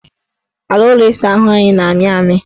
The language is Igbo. Ala ụlọ ịsaahụ ahụ na-amị amị